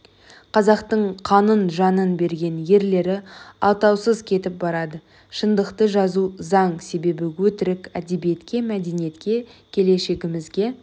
қазақтың қанын жанын берген ерлері атаусыз кетіп барады шындықты жазу заң себебі өтірік әдебиетке мәдениетке келешігімізге